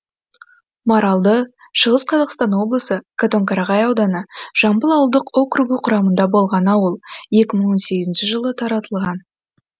маралды шығыс қазақстан облысы катонқарағай ауданы жамбыл ауылдық округі құрамында болған ауыл екі мың он сегізінші жылы таратылған